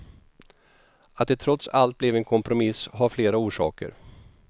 Att det trots allt blev en kompromiss har flera orsaker.